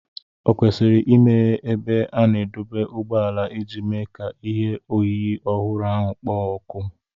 Ò kwesịrị imeghe ebe a na-adọba ụgbọala iji mee ka ihe oyiyi ọhụrụ ahụ kpoo ọkụ?